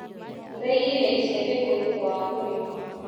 ũraigire icembe kũ thutha wa kũrĩma.